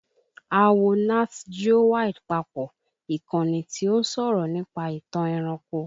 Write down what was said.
A wo Nat Geo Wild papọ̀, ìkànnì tí ó ń sọ̀rọ̀ nípa ìtàn ẹranko